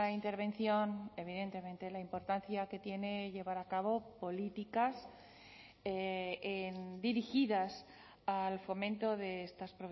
intervención evidentemente la importancia que tiene llevar a cabo políticas dirigidas al fomento de estas